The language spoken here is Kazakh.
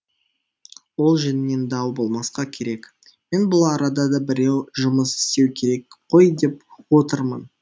ол жөнінен дау болмасқа керек мен бұл арада да біреу жұмыс істеуі керек қой деп отырмын